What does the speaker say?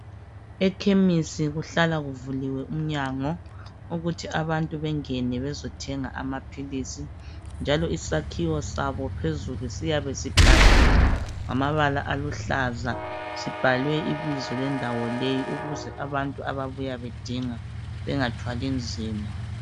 Ekhemisi kuhlala kuvuliwe umnyango ukuthi abantu bengene bezothenga amaphilisi njalo isakhiwo sabo phezulu siyabe sibhaliwe ngamabala aluhlaza sibhalwe ibizo lendawo leyi ukuze abantu ababuya bedinga bengathwali nzima.